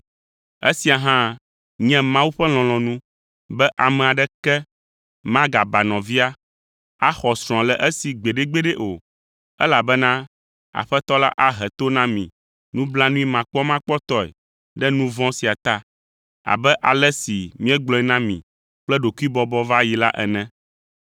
Esia hã nye Mawu ƒe lɔlɔ̃nu be ame aɖeke magaba nɔvia, axɔ srɔ̃a le esi gbeɖegbeɖe o, elabena Aƒetɔ la ahe to na mi nublanuimakpɔmakpɔtɔe ɖe nu vɔ̃ sia ta, abe ale si míegblɔe na mi kple ɖokuibɔbɔ va yi la ene.